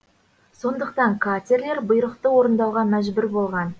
сондықтан катерлер бұйрықты орындауға мәжбүр болған